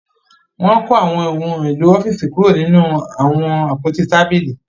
Wọn ko awọn ohùn èló ọfiisi kuro nínú awọn àpótí tábìlì